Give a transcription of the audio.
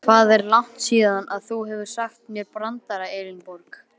Hvað er langt síðan þú hefur sagt mér brandara Elínborg?